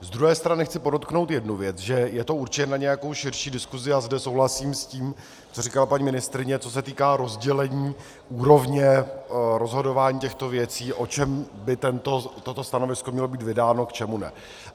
Z druhé strany chci podotknout jednu věc, že je to určitě na nějakou širší diskusi, a zde souhlasím s tím, co říkala paní ministryně, co se týká rozdělení úrovně rozhodování těchto věcí, o čem by toto stanovisko mělo být vydáno, k čemu ne.